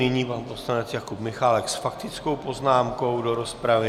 Nyní pan poslanec Jakub Michálek s faktickou poznámkou do rozpravy.